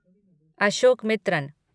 Ashokamitran